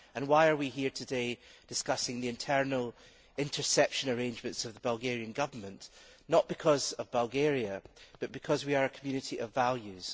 And why are we here today discussing the internal interception arrangements of the Bulgarian Government? Not because of Bulgaria, but because we are a community of values.